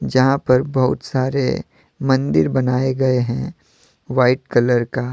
जहां पर बहुत सारे मंदिर बनाए गए हैं व्हाइट कलर का।